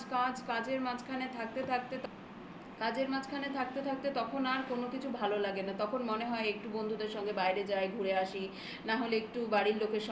কাজের মাঝখানে থাকতে থাকতে কাজের মাঝখানে থাকতে থাকতে তখন আর কোন কিছু ভালো লাগে না. তখন মনে হয় একটু বন্ধুদের সঙ্গে বাইরে যায়. ঘুরে আসি না হলে একটু বাড়ির লোকের